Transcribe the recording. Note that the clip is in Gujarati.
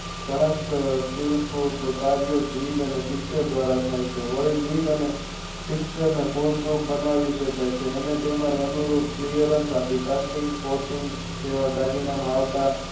ઘણા ટીપુલ કર્યો જીગ અને Pitcher દ્વારા થઈ છે વળી જીગ અને અને તેના અનુરૂપ Clear અંક આપી છે તેવા દાગીના માં આવતા